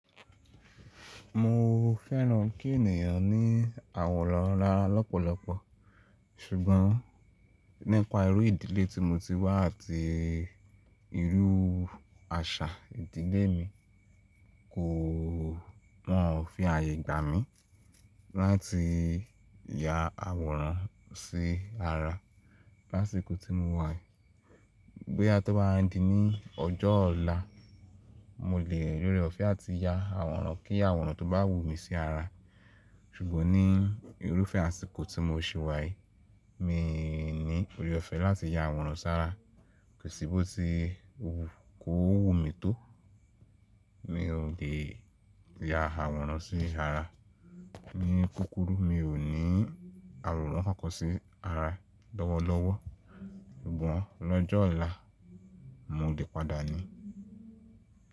Mo fẹ́ràn kí ènìyàn ní àwòrán ara lọ́pọ̀lọpọ̀ ṣùgbọ́n nípa irú ìdílé tí mo ti wá àti irú àṣà ìdílé mi kò, wọ́n ò fi ààyè gbà mí láti ya àwòrán sí ara lásìkò tí mo wà. Bóyá tí ó bá wá di ní ọjọ́ ọ̀la, mo lè rí ọ̀fẹ́ àti ya àwòrán kí àwòrán tó bá wù mí sí ara. Ṣùgbọ́n ní irúfẹ́ àsìkò tí mo sì wà yìí, mi ní òré ọ̀fẹ́ láti ya àwòrán sára, kòsí bó ti wù kó wù mí tó, mi ò lè ya àwòrán sí ara. Ní kúkúrú mi ò ní àwòrán kan kan sí ara lọ́wọ́lọ́wọ́. Ṣùgbọ́n lọ́jọ́ ọ̀la mo lè padà ní.